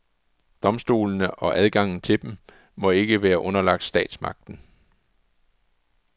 Domstolene, og adgangen til dem, må ikke være underlagt statsmagten.